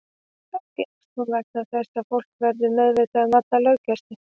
Kannski eykst hún vegna þess að fólk verður meðvitaðra um alla löggæslu.